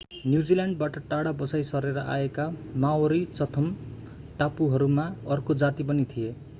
न्युजील्याण्डबाट टाढा बसाईं सरेर आएका माओरी चथम टापुहरूमा अर्को जाति पनि थिए